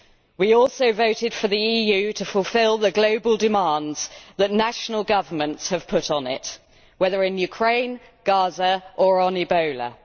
We also voted for the EU to fulfil the global demands that national governments have put on it, whether in Ukraine, in Gaza or on Ebola.